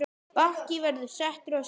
Bakki verður settur á skipið.